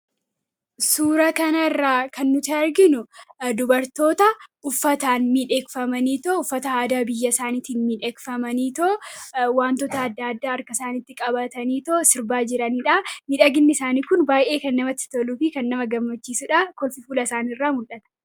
Suuraa kana irraa kan nuti arginuu dubartoota uffata aadaa addaa addaa uffatanii miidhaganii jiranii dha. Akkasumas wantoota addaa addaa harka isaaniitti qabatanii kan sirnaa jiranii dha. Miidhaginni isaaniis kan namatti toluu fi nama hawwatuu dha.